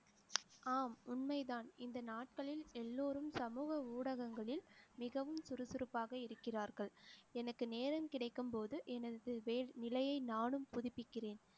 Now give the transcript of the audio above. ஆம் உண்மைதான் இந்த நாட்களில் எல்லோரும் சமூக ஊடகங்களில் மிகவும் சுறுசுறுப்பாக இருக்கிறார்கள். எனக்கு நேரம் கிடைக்கும் போது எனது நிலையை நானும் புதுப்பிக்கிறேன்